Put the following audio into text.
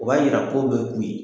O b'a yira k'o bɛ kun yen